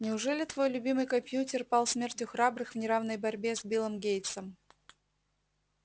неужели твой любимый компьютер пал смертью храбрых в неравной борьбе с биллом гейтсом